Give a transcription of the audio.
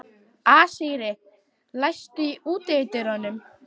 Asírí, læstu útidyrunum.